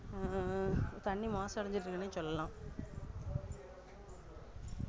அஹ் தண்ணி மாசு அடஞ்சுகிட்டே இருகுதுனே சொல்லலாம்